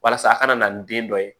Walasa a kana na ni den dɔ ye